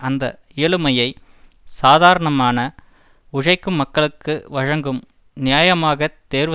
அந்த இயலுமையை சாதாரணமான உழைக்கும் மக்களுக்கு வழங்கும் நியாயமாக தேர்வு